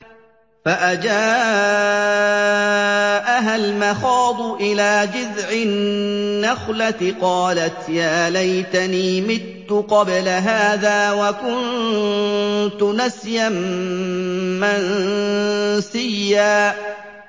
فَأَجَاءَهَا الْمَخَاضُ إِلَىٰ جِذْعِ النَّخْلَةِ قَالَتْ يَا لَيْتَنِي مِتُّ قَبْلَ هَٰذَا وَكُنتُ نَسْيًا مَّنسِيًّا